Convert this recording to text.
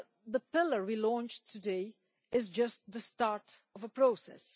The pillar we launched today is just the start of a process.